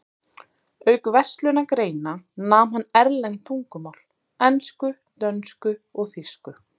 Auk verslunargreina nam hann erlend tungumál: ensku, dönsku og þýsku.